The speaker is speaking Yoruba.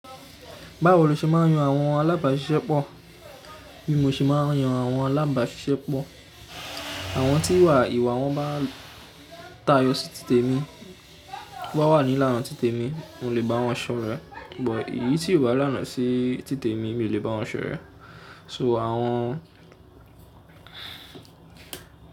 Báwo lo ṣe máa ń yan àwọn alábàáṣiṣẹ́ pọ̀? Bi ò ṣe máa ń yan àwọn alábàáṣiṣẹ́ pọ̀. Àwọn tí ìwà wọn bá tayọ sí títè mi, tí wọ́n bá wà nílána títè mi, n ò lè bá wọn ṣọ̀rẹ́. Ṣùgbọ́n èyí tí ò bá làná sí títè mi mi ò lè bá ọ̀rẹ́. So àwọn.